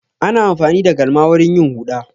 Ana amfani da galma wurin yin huɗa.